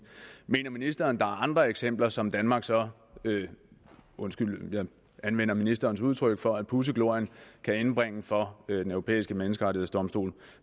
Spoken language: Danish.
mener ministeren der er andre eksempler som danmark så undskyld jeg anvender ministerens udtryk for at pudse glorien kan indbringe for den europæiske menneskerettighedsdomstol